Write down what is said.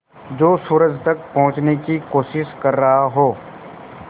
जो सूरज तक पहुँचने की कोशिश कर रहा हो